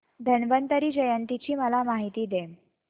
धन्वंतरी जयंती ची मला माहिती दे